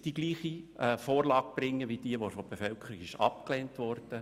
Die Vorlage ist nicht gleich wie jene, welche von der Bevölkerung abgelehnt wurde.